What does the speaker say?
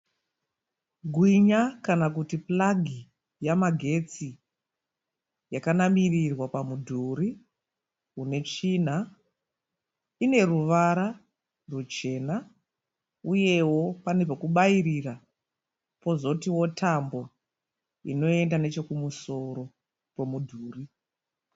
Gwinya kana kuti puragi yamagetsi yakanamirirwa pamudhuri une tsvina ine ruvara ruchena uyewo pane pekubairira pozotiwo tambo inoenda nechekumusoro kwomudhuri.